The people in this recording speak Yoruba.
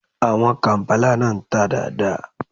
Àwọn kàǹpálà náà ń tà dáa dáa.